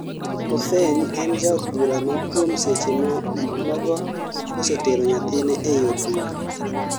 Coffeny en jaod bura ma kuom seche nogo osetero nyathine ei od bura